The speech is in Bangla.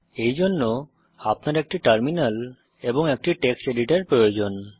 এইজন্য আপনার একটি টার্মিনাল এবং একটি টেক্সট এডিটর প্রয়োজন